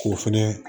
K'o fɛnɛ